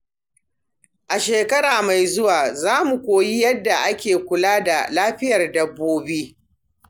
A shekara mai zuwa, za mu koyi yadda ake kula da lafiyar dabbobi.